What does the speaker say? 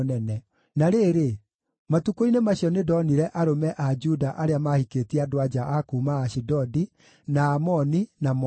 Na rĩrĩ, matukũ-inĩ macio nĩndonire arũme a Juda arĩa maahikĩtie andũ-a-nja a kuuma Ashidodi, na Amoni, na Moabi.